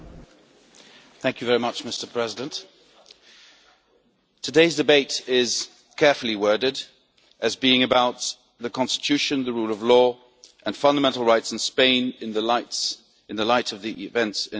Mr President, today's debate is carefully worded as being about the Constitution, the rule of law and fundamental rights in Spain in the light of the events in Catalonia.